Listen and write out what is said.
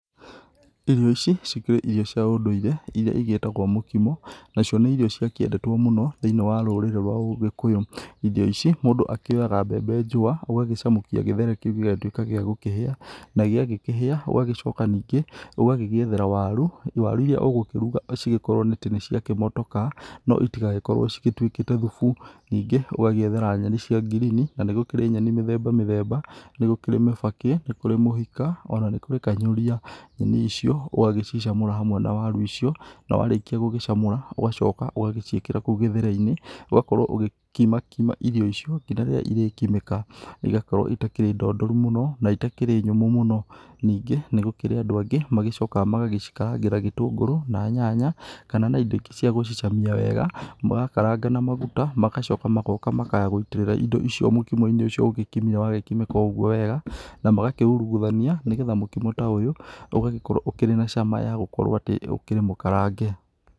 Irio ici cikĩrĩ irio cia ũndũire, irĩa cigĩtagwo mũkimo nacio nĩ irio ciakĩendetwo mũno thĩiniĩ wa rũrĩrĩ rwa ũgĩkũyũ. Irio ici mũndũ akĩoyaga mbembe njũa ũgagĩcamũkia gĩtheri kĩu gĩgakorwo gĩakũhĩa. Na gĩakĩhĩa ũgagĩcoka ningĩ ũgagĩgĩethera waru, waru irĩa ũgũkĩruga cigĩkorwo nĩciagĩkĩmotoka, no citigagĩkorwo cituĩkĩte thubu. Ningĩ ũgaciethera nyeni cia ngirini na nĩ kũrĩ nyeni mĩthemba mĩthemba, nĩ kũrĩ mĩbakĩ, nĩ kũrĩ mũhika ona nĩ kũrĩ kanyũria. Nyeni icio ũgagĩcicamũra hamwe na waru icio, na warĩkia gũcicamũra, ũgagĩcoka ũgagĩciĩkĩra kũu gĩthere-inĩ ũgakorwo ũgĩkimakima irio icio nginya rĩrĩa irĩkimĩka na igakorwo itarĩ ndondoru mũno, na itakĩrĩ nyũmũ mũno. Ningĩ nĩgũkĩrĩ andũ angĩ magĩcokaga magacikarangĩra gĩtũngũrũ na nyanya kana na indo ingĩ cia gũcamia wega, makaranga na maguta magacoka magoka makaya gũitĩrĩra indo icio mũkimo-inĩ ũcio ũgĩkimire wagĩkimĩka oũguo wega, magacoka makauruguthania, nĩgetha mũkimo ta ũyũ ũgagĩkorwo ũkĩrĩ na cama ya gũkorwo atĩ ũkĩrĩmũkarange.